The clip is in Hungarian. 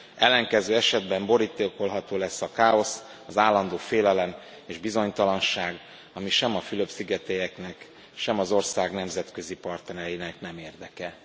Ellenkező esetben borítékolható lesz a káosz, az állandó félelem és bizonytalanság, ami sem a fülöp szigetieknek, sem az ország nemzetközi partnereinek nem érdeke.